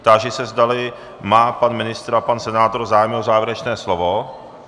Táži se, zdali má pan ministr a pan senátor zájem o závěrečné slovo.